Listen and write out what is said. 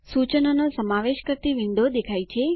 સૂચનોનો સમાવેશ કરતી વિન્ડો દેખાય છે